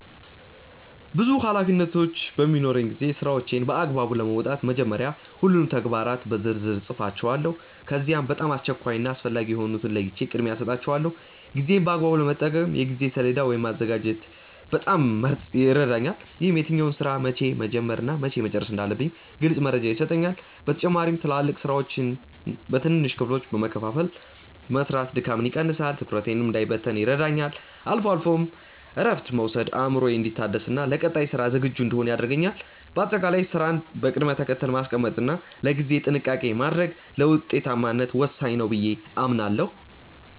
ብዙ ኃላፊነቶች በሚኖሩኝ ጊዜ ስራዎቼን በአግባቡ ለመወጣት መጀመሪያ ሁሉንም ተግባራት በዝርዝር እጽፋቸዋለሁ። ከዚያም በጣም አስቸኳይ እና አስፈላጊ የሆኑትን ለይቼ ቅድሚያ እሰጣቸዋለሁ። ጊዜዬን በአግባቡ ለመጠቀም የጊዜ ሰሌዳ ወይም ማዘጋጀት በጣም ይረዳኛል። ይህም የትኛውን ስራ መቼ መጀመር እና መቼ መጨረስ እንዳለብኝ ግልጽ መረጃ ይሰጠኛል። በተጨማሪም ትላልቅ ስራዎችን በትንንሽ ክፍሎች በመከፋፈል መስራት ድካምን ይቀንሳል፤ ትኩረቴም እንዳይበታተን ይረዳኛል። አልፎ አልፎም እረፍት መውሰድ አእምሮዬ እንዲታደስና ለቀጣይ ስራ ዝግጁ እንድሆን ያደርገኛል። በአጠቃላይ ስራን በቅደም ተከተል ማስቀመጥ እና ለጊዜ ጥንቃቄ ማድረግ ለውጤታማነት ወሳኝ ነው ብዬ አምናለሁ።